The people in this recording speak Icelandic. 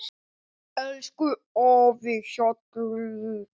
Elsku afi Hjalli.